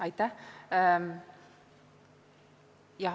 Aitäh!